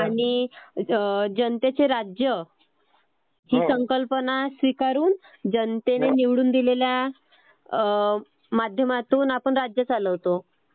आणि जान्तेचे राज्य हि संकल्पना स्वीकारून जनतेने निवडून दिलेल्या माध्यमातून आपण राज्य चालवतो.